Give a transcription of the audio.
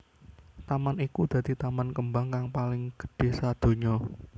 Taman iku dadi taman kembang kang paling gedhé sadonya